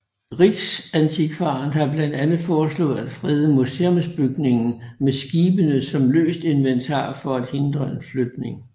Riksantikvaren har blandt andet foreslået at frede museumsbygningen med skibene som løst inventar for at hindre en flytning